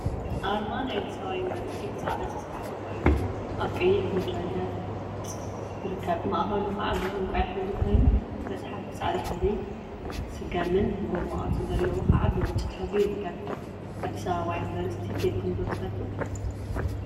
አርማ ናይ አዲስ አበባ ዩኒቨርሲቲ ብፃዕዳ ዝተፀሓፈ ኮይኑ፤ አብ ቀይሕ ምድረ ገፅ ይርከብ፡፡ ማእከሉ ከዓ ብዕንቋይ ሕብሪ ኮይኑ መፅሓፍ ብፃዕዳ ሕብሪ፣ ስገምን ጎማ ቅርፂ ዘለዎ ከዓ ብብጫ ሕብሪ ይርከብ፡፡ አዲስ አበባ ዩኒቨርሰቲ ከይድኩም ዶ ትፈልጡ?